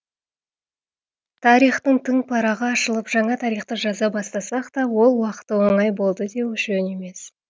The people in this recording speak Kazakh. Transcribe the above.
тарихтың тың парағы ашылып жаңа тарихты жаза бастасақ та ол уақыты оңай болды деу жөн емес